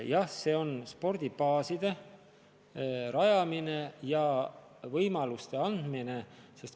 Jah, tegu on spordibaaside rajamisega ja võimaluste andmisega.